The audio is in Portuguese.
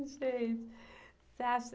Gente, você acha?